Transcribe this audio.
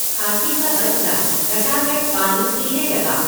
हाथी का बच्चा गटागट पानी पीने लगा।